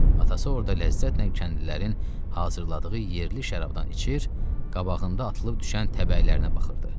Atası orda ləzzətlə kəndlilərin hazırladığı yerli şərabdan içir, qabağında atılıb düşən təbəələrə baxırdı.